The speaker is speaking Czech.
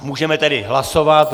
Můžeme tedy hlasovat.